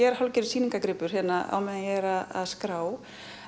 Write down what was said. er hálfgerður sýningargripur hérna meðan ég er að skrá